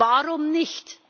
Warum nicht?